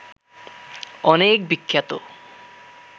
অনেক বিখ্যাত